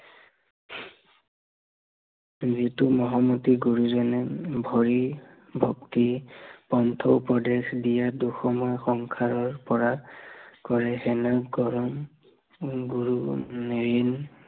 যিটো মহামতী গুৰুজনে হৰি ভক্তি, কণ্ঠ উপদেশ দিয়ে, দুখময় সংসাৰৰ পৰা, কৰে হেন পৰম উম গুৰু ঋণ